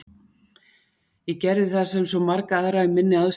Ég gerði það sem svo marga aðra í minni aðstöðu dreymir um að gera.